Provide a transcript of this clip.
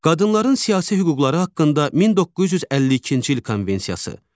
Qadınların siyasi hüquqları haqqında 1952-ci il konvensiyası.